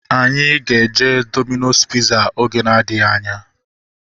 Anyị ga-eje Domino's piza oge na-adịghị anya